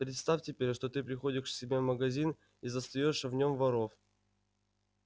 представь теперь что ты приходишь к себе в магазин и застаёшь в нём воров